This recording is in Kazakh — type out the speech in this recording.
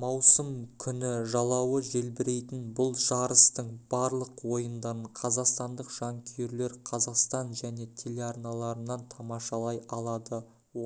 маусым күні жалауы желбірейтін бұл жарыстың барлық ойындарын қазақстандық жанкүйерлер қазақстан және телеарналарынан тамашалай алады